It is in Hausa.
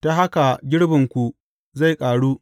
Ta haka girbinku zai ƙaru.